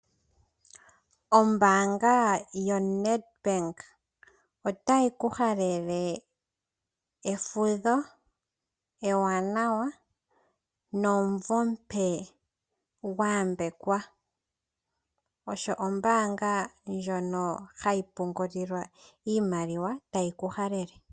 Ombaanga yo NET Bank otayi ku halele efudho ewanawa nomvo omupe gwa yambekwa. Osho ombaanga ndjono hayi pungulilwa iimaliwa tayi ku halele.